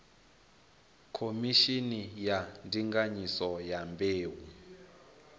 khomishini ya ndinganyiso ya mbeu